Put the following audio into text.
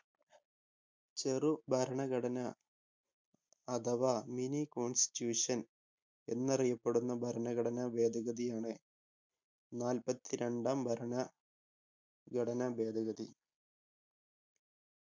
ചെറു ഭരണഘടനാ അഥവാ mini constitution എന്നറിയപ്പെടുന്ന ഭരണഘടനാ ഭേദഗതിയാണ് നാല്പത്തി രണ്ടാം ഭരണഘടനാ ഭേദഗതി.